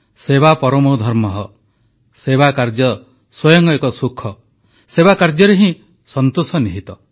ସେବା ପରମୋ ଧର୍ମଃ ସେବାକାର୍ଯ୍ୟ ସ୍ୱୟଂ ଏକ ସୁଖ ସେବାକାର୍ଯ୍ୟରେ ହିଁ ସନ୍ତୋଷ ନିହିତ